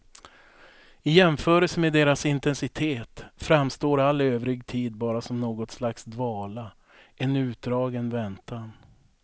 I jämförelse med deras intensitet framstår all övrig tid bara som något slags dvala, en utdragen väntan.